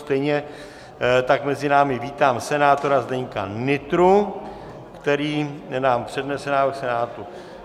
Stejně tak mezi námi vítám senátora Zdeňka Nytru, který nám přednese návrh Senátu.